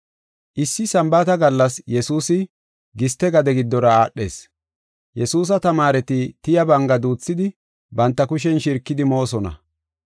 Issi Sambaata gallas Yesuusi giste gade giddora aadhees. Yesuusa tamaareti tiya banga duuthidi banta kushen shirkidi moosona.